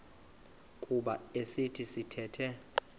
kuba esi sithethe